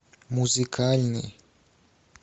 музыкальный